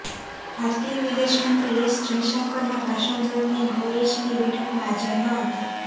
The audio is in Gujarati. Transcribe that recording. ભારતીય વિદેશમંત્રી એસ જયશંકરના ભાષણ દરમિયાન કુરૈશીની બેઠકમાં હાજર ન હતા